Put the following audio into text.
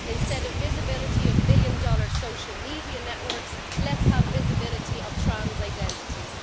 Instead of visibility of billion dollar social media networks, let's have visibility of trans identities.